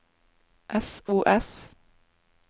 sos